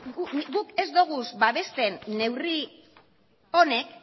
guk ez doguz babesten neurri honek